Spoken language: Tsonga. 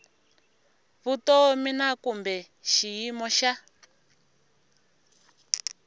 vutomi na kumbe xiyimo xa